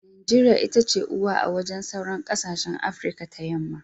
Najeriya itace uwa a wajen sauran kasashen afirika ta yamma.